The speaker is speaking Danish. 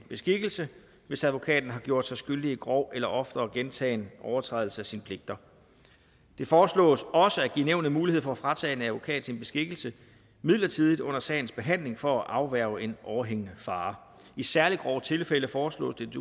beskikkelsen hvis advokaten har gjort sig skyldig i grov eller oftere gentagne overtrædelser af sine pligter det foreslås også at give nævnet mulighed for at fratage en advokat beskikkelsen midlertidigt under sagens behandling for at afværge en overhængende fare i særlig grove tilfælde foreslås det